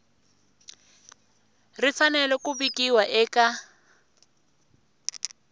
ri fanele ku vikiwa eka